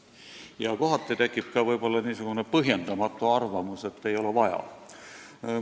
Ja kohati tekib võib-olla niisugune põhjendamatu arvamus, et ei ole vaja toimetada.